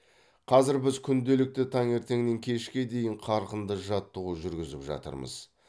қазір біз күнделікті таңертеңнен кешке дейін қарқынды жаттығу жүргізіп жатырмыз